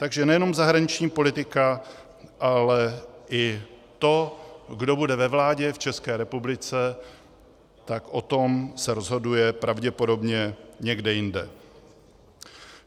Takže nejenom zahraniční politika, ale i to, kdo bude ve vládě v České republice, tak o tom se rozhoduje pravděpodobně někde jinde.